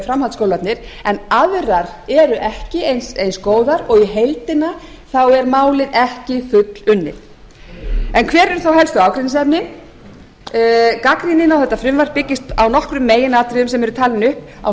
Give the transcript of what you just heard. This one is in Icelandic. framhaldsskólarnir en aðrar eru ekki eins góðar og í heildina er málið ekki fullunnið en hver eru þá helstu ágreiningsefnin gagnrýnin á þetta frumvarp byggist á nokkrum meginatriðum sem eru talin upp á